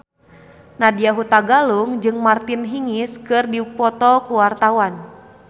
Nadya Hutagalung jeung Martina Hingis keur dipoto ku wartawan